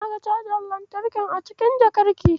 Na ga cajar lantarkin a cikin jakarki.